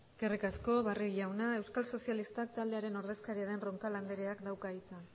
eskerrik asko barrio jauna euskal sozialistak taldearen ordezkari den roncal andreak dauka hitza